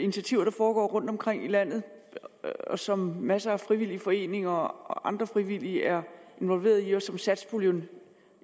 initiativer der foregår rundtomkring i landet som masser af frivillige foreninger og andre frivillige er involveret i og som satspuljen